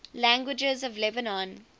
languages of lebanon